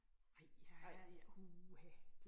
Nej, jeg uha